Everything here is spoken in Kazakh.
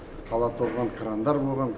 қала толған крандар болған